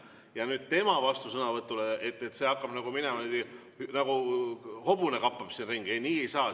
Aga et nüüd tema vastusõnavõtu peale hakkab see minema niimoodi, nagu hobune kappab siin ringi – ei, nii ei saa.